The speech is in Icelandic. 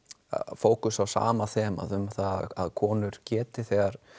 fókusa á sama þemað um að konur geti þegar